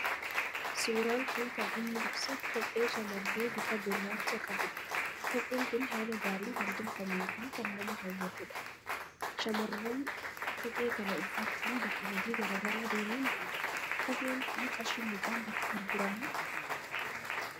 Suuraan kun kan inni ibsu kophee shamarree bifa gurraacha qabu dha. Kopheen kun haala gaariin kan tolfameefi kan nama hawwatu dha. Shamarran kophee kana uffachuun bakka hojii garaagaraa deemuu nidanda'uu. Kopheen kun qarshii meeqaan gurguramaa?